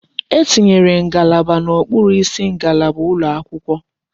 E tinyere ngalaba n'okpuru isi ngalaba ụlọ akwụkwọ.